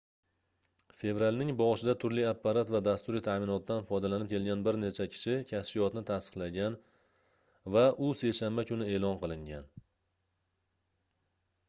fevralning boshida turli apparat va dasturiy taʼminotdan foydalanib kelgan bir necha kishi kashfiyotni tasdiqlagan va u seshanba kuni eʼlon qilingan